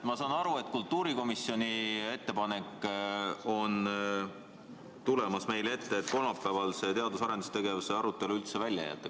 Ma saan aru, et kultuurikomisjoni ettepanek, mis on tulemas meie ette, on selline, et kolmapäevane teadus- ja arendustegevuse arutelu tuleks üldse välja jätta.